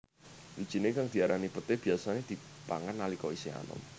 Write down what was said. Wijiné kang diarani peté biyasané dipangan nalika isih anom